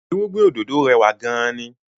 Irúgbìn òdòdó rẹwà gan-an ni